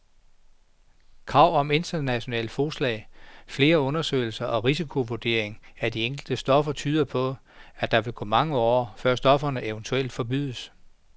Krav om internationalt fodslag, flere undersøgelser og risikovurdering af de enkelte stoffer tyder på, at der vil gå mange år, før stofferne eventuelt forbydes.